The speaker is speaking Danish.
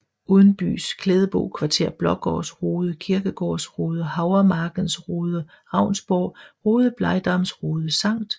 Udenbys Klædebo Kvarter Blaagaards Rode Kirkegaards Rode Havremarkens Rode Ravnsborg Rode Blegdams Rode Skt